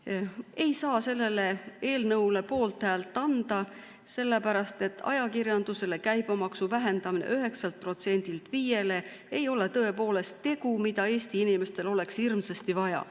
Ma ei saa sellele eelnõule poolthäält anda, sellepärast et ajakirjanduse käibemaksu vähendamine 9%‑lt 5%‑le ei ole tõepoolest tegu, mida Eesti inimestel oleks hirmsasti vaja.